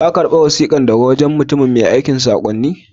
Ka karba wasikan daga wajen mutumin mai aikan sakonnin?